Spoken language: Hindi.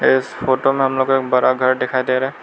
इस फोटो में हम लोग को एक बड़ा घर दिखाई दे रहा --